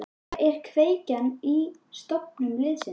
Hver er kveikjan að stofnun liðsins?